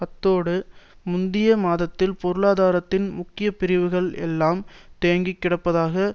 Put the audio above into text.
அத்தோடு முந்திய மாதத்தில் பொருளாதாரத்தின் முக்கிய பிரிவுகள் எல்லாம் தேங்கிக் கிடப்பதாக